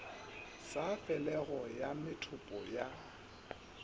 sa felego ya methopo ya